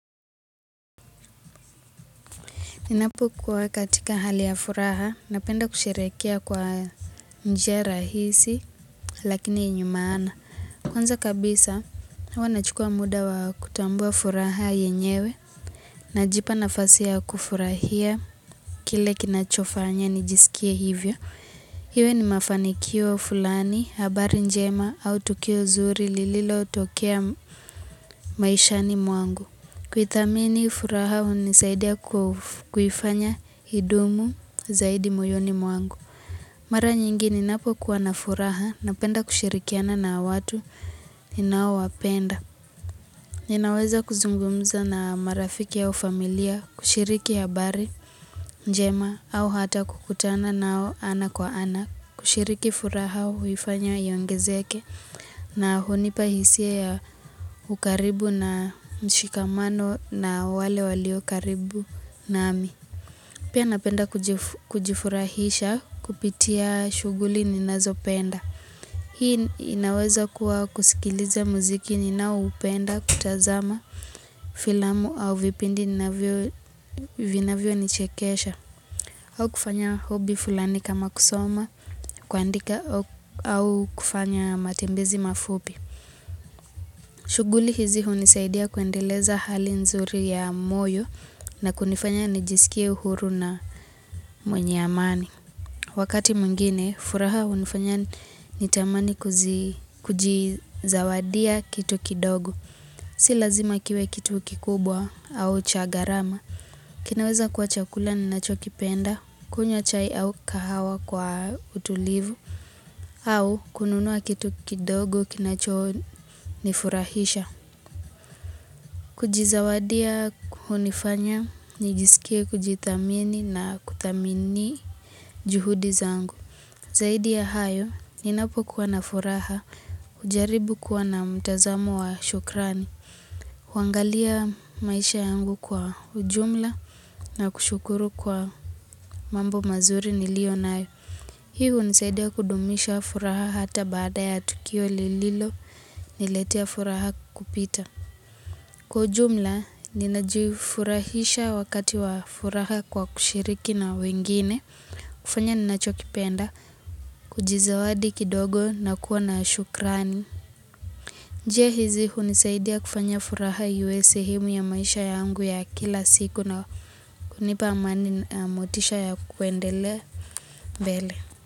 Ninapo kwa katika hali ya furaha, napenda kusherekia kwa njia rahisi, lakini enye maana. Kwanza kabisa, wanachukua muda wa kutambua furaha yenyewe, na jipa nafasi ya kufurahia, kile kinachofanya nijisikia hivyo. Hiwe ni mafanikio fulani, habari njema, au tukio zuri lililo utokea maishani mwangu. Kwi thamini furaha huu nisaidia kuhifanya idumu zaidi muyoni mwangu Mara nyingi ni napo kuwana furaha napenda kushirikiana na watu ni nao wapenda Ninaweza kuzungumza na marafiki yao familia, kushiriki habari, njema au hata kukutana nao ana kwa ana kushiriki furaha huifanyo yongezeke na hunipahisie ya ukaribu na mshikamano na wale walio karibu nami. Pia napenda kujifurahisha kupitia shughuli ninazopenda. Hii inaweza kuwa kusikiliza muziki ni na upenda kutazama filamu au vipindi vinavyo nichekesha. Au kufanya hobi fulani kama kusoma, kuandika au kufanya matembezi mafubi. Shughuli hizi hunisaidia kuendeleza hali nzuri ya moyo na kunifanya nijisikia uhuru na mwenye amani. Wakati mwingine, furaha hunifanya nitamani kujizawadia kitu kidogo. Si lazima kiwe kitu kikubwa au cha gharama. Kinaweza kwa chakula ninacho kipenda, kunywa chai au kahawa kwa utulivu, au kununua kitu kidogo kinacho nifurahisha. Kujizawadia kuhunifanya, nijisikia kujidhamini na kutamini juhudizangu. Zaidi ya hayo, ninapo kuwana furaha, jaribu kuwa na mtazamo wa shukrani. Huangalia maisha yangu kwa ujumla na kushukuru kwa mambo mazuri nilio nayo unisaidia kudumisha furaha hata baada ya Tukio lililo niletia furaha kupita Kwa ujumla, ninajufurahisha wakati wa furaha kwa kushiriki na wengine kufanya ninachokipenda, kujizawadi kidogo na kuwa na ashukrani Njie hizi huni saidi ya kufanya furaha yuwezi himu ya maisha yangu ya kila siku na kunipa amani motisha ya kuendele bele.